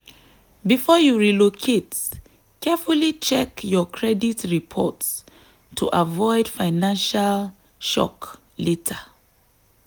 before you relocate carefully check your credit reports to avoid financial shock later.